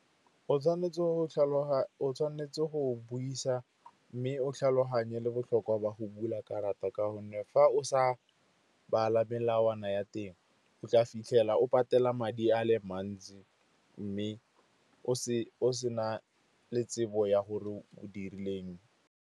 O tshwanetse go buisa mme o tlhaloganye le botlhokwa jwa go bula karata ka gonne fa o sa bala melawana ya teng, o tla fitlhela o patela madi a le mantsi, mme o se na le tsebo ya gore o dirileng.